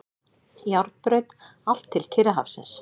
Járnbraut allt til Kyrrahafsins.